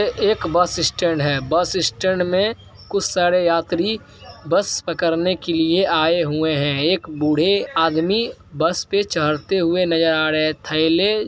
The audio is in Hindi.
ये एक बस स्टैंड है। बस स्टैंड में कुछ सारे यात्री बस पकड़ने के लिए आए हुये हैं । एक बुढे आदमी बस पे चढते हुए नजर आ रहे हैं। थेले --